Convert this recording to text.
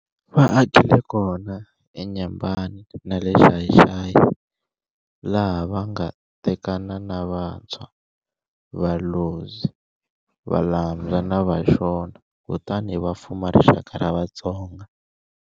Va akile kona eNyembani na le Xai-Xai, laha va nga tekana na Vatswa, Valozyi, Valambya na Vashona, kutani va fuma rixaka ra Vatsonga.